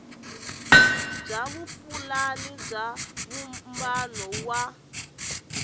bya vupulani bya vumbano wa